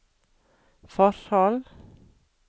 forhold